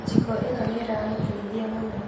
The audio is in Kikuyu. Njiko ĩno nĩĩramũteithia mũno